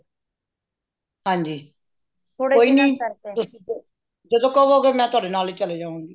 ਹਾਂਜੀ ਕੋਈ ਨਾ ਜਦੋ ਕਵੋਂਗੇ ਮੈਂ ਤੂਹਾਡੇ ਨਾਲ ਹੀ ਚਲੀ ਜਾਵਾਂਗੀ